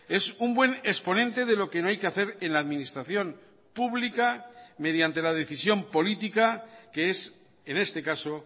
es un buen exponente de lo que no hay que hacer en la administración pública mediante la decisión política que es en este caso